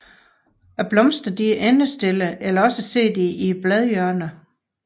Blomsterne er endestillede eller også sidder de i bladhjørnerne